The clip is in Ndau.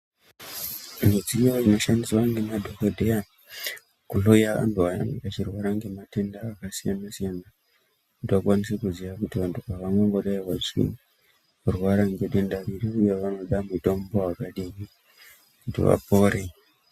Midziyo inoshandiswa nemadhokhodheya kunouya vantu vanenge vachirwara nematenda akasiyana siyana kuti vakwanise kuziya kuti vantu ava vanomboda chiinyi nekurwara nedenda vanoda mutombo wakadini kuti vapore.